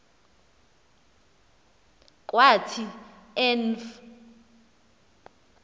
kwathi en v